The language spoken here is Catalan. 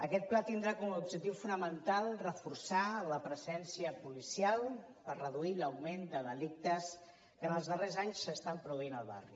aquest pla tindrà com a objectiu fonamental reforçar la presència policial per reduir l’augment de delictes que ens els darrers anys s’estan produint al barri